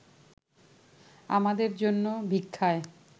আমাদের জন্য ভিক্ষায়